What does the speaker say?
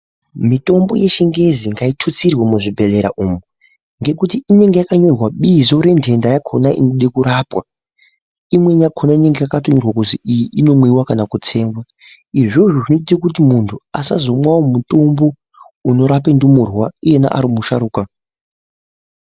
Mitombo yechingezi ngaitutsirwe muzvibhedhlera umu. Ngekuti inonga yakanyorwa bizo renhenda yakona inode kurapwa. Imweni yakona inenge yakatonyorwa kuzi iyi inomwiva kana kutsenga izvozvo zvinoita kuti muntu azomwavo mutombo unorape ndumurwa iyena ari musharuka.